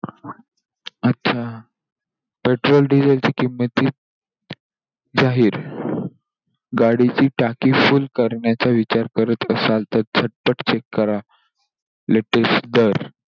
अच्छा! Petrol, diesel ची किंमत जा जाहीर गाडीची टाकी full करण्याचा विचार करत असाल, तर झटपट check करा latest दर.